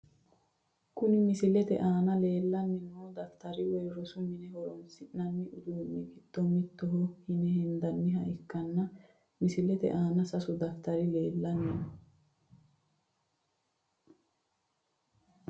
Kuni misilete aana leelani noo dafitari woyi rosu mine horonsinani uduuni giddo mittoho yine hendaniha ikkana misilete aana sasu dafitari leelano.